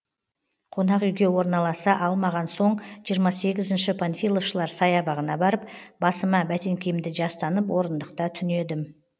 қонақүйге орналаса алмаған соң жиырма сегізінші панфиловшылар саябағына барып басыма бәтеңкемді жастанып орындықта түнедім